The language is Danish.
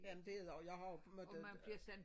Jamen det er det også jeg har jo måtte øh